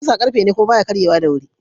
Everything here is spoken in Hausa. Kusa ƙarfe ne kuma baya karye wa da wuri.